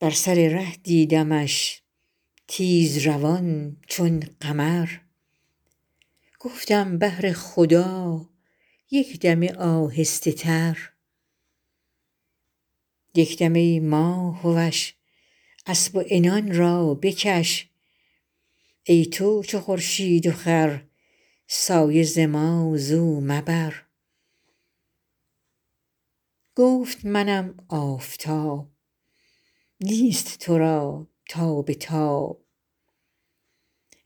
بر سر ره دیدمش تیزروان چون قمر گفتم بهر خدا یک دمه آهسته تر یک دم ای ماه وش اسب و عنان را بکش ای تو چو خورشید و خور سایه ز ما زو مبر گفت منم آفتاب نیست تو را تاب تاب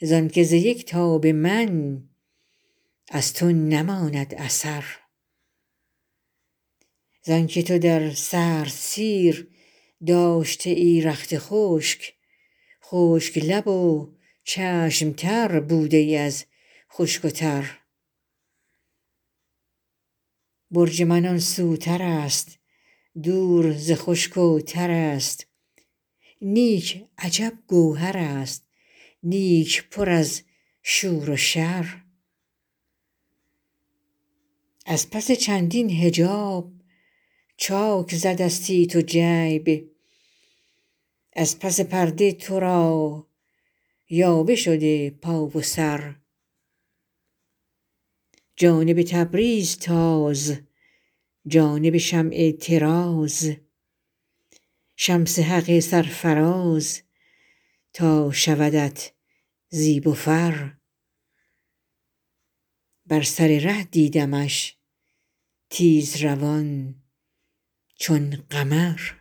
زانک ز یک تاب من از تو نماند اثر زانک تو در سردسیر داشته ای رخت خشک خشک لب و چشم تر بوده ای از خشک و تر برج من آن سوترست دور ز خشک و ترست نیک عجب گوهرست نیک پر از شور و شر از پس چندین حجاب چاک زدستی تو جیب از پس پرده تو را یاوه شده پا و سر جانب تبریز تاز جانب شمع طراز شمس حق سرفراز تا شودت زیب و فر